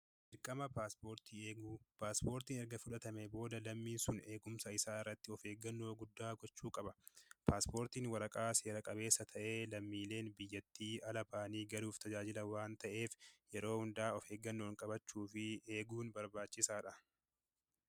Dirqama paaspoortii eeguu: paaspoortiin erga fudhatamee booda lammii sun eegumsa isaa irratti of eeggannoo guddaa gochuu qaba. Paaspoortiin waraqaa seera-qabeessa ta'ee lammiileen biyyattii ala ba'anii galuuf tajaajila waan ta'eef, yeroo hundaa of eeggannoon qabachuu fi eeguun barbaachisaadha.